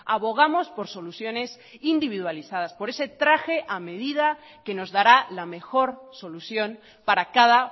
abogamos por soluciones individualizadas por ese traje a medida que nos dará la mejor solución para cada